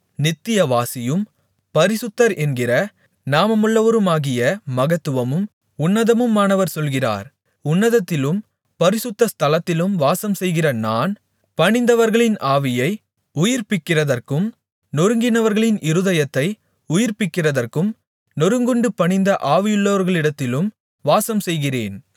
நித்தியவாசியும் பரிசுத்தர் என்கிற நாமமுள்ளவருமாகிய மகத்துவமும் உன்னதமுமானவர் சொல்கிறார் உன்னதத்திலும் பரிசுத்த ஸ்தலத்திலும் வாசம்செய்கிற நான் பணிந்தவர்களின் ஆவியை உயிர்ப்பிக்கிறதற்கும் நொறுங்கினவர்களின் இருதயத்தை உயிர்ப்பிக்கிறதற்கும் நொறுங்குண்டு பணிந்த ஆவியுள்ளவர்களிடத்திலும் வாசம்செய்கிறேன்